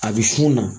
A bɛ funu na